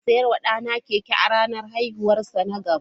Zan saya wa ɗana keke a ranar haihuwarsa na goma.